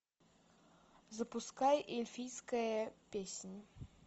запускай эльфийская песнь